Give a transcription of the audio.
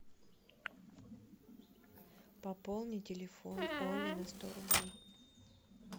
пополни телефон оли на сто рублей